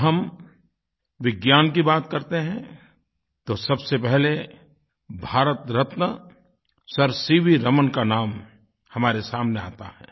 जब हम विज्ञान की बात करते हैं तो सबसे पहले भारतरत्न सर सीवी रमन का नाम हमारे सामने आता है